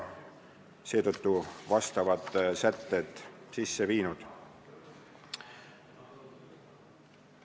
Sellekohased sätted on eelnõusse sisse viidud.